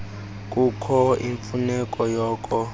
kukho imfuneko yoko